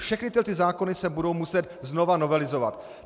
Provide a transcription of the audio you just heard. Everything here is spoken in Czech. Všechny tyhle zákony se budou muset znova novelizovat.